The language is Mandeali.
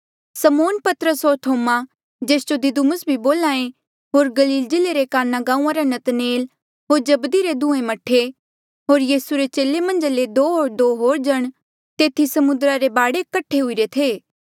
समौन पतरस होर थोमा जेस जो दिदुमुस भी बोल्हा ऐें होर गलील जिल्ले रे काना गांऊँआं रा नतनएल होर जब्दी रे दुहें मह्ठे होर यीसू रे चेले मन्झा ले दो होर दो जण तेथी समुद्रा रे बाढे कठे हुईरे थे